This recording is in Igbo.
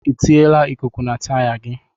Ị tiyila ikuku na taya gị?